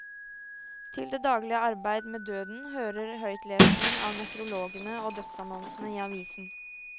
Til det daglige arbeid med døden hører høytlesning av nekrologene og dødsannonsene i avisen.